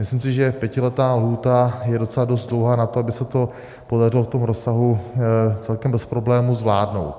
Myslím si, že pětiletá lhůta je docela dost dlouhá na to, aby se to podařilo v tom rozsahu celkem bez problému zvládnout.